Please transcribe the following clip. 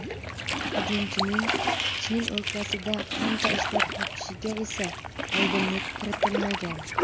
Hujumchining Chin o‘lkasida qancha ishlab topishiga esa oydinlik kiritilmagan.